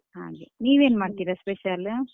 ಹ ಹಾಗೆ ನೀವ್ ಏನ್ ಮಾಡ್ತಿರಾ special ?